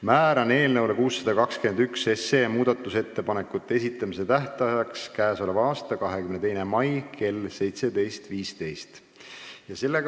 Määran eelnõu 621 muudatusettepanekute esitamise tähtajaks k.a 22. mai kell 17.15.